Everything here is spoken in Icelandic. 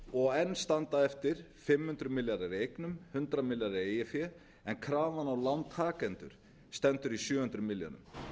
og enn standa eftir fimm hundruð milljarðar í eignum hundrað milljarðar í eigið fé krafan á lántakendur stendur í sjö hundruð milljörðum